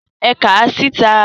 É kàà síta!